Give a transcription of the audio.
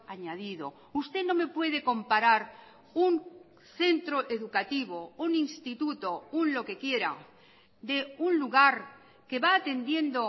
añadido usted no me puede comparar un centro educativo un instituto un lo que quiera de un lugar que va atendiendo